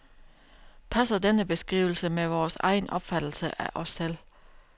Passer denne beskrivelse med vores egen opfattelse af os selv?